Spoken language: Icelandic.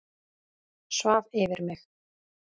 Svaf yfir mig